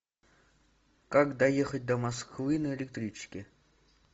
как доехать до москвы на электричке